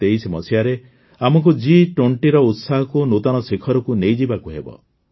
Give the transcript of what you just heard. ୨୦୨୩ରେ ଆମକୁ G20ର ଉତ୍ସାହକୁ ନୂତନ ଶିଖରକୁ ନେଇଯିବାକୁ ହେବ